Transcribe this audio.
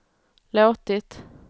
låtit